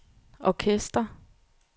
orkester